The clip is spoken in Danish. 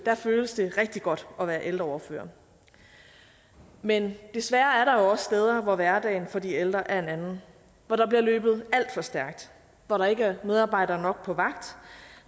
føles det rigtig godt at være ældreordfører men desværre er der jo også steder hvor hverdagen for de ældre er en anden hvor der bliver løbet alt for stærkt hvor der ikke er medarbejdere nok på vagt